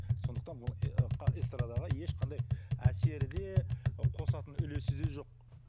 сондықтан бұл эстрадаға ешқандай әсері де ы қосатын үлесі де жоқ